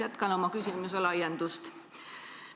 Jätkan oma küsimuse laiendusega.